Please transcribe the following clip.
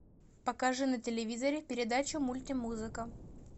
покажи на телевизоре передачу мультимузыка